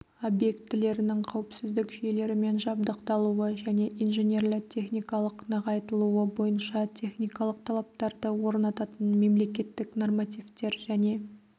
объектілерінің қауіпсіздік жүйелерімен жабдықталуы және инженерлі-техникалық нығайтылуы бойынша техникалық талаптарды орнататын мемлекеттік нормативтер және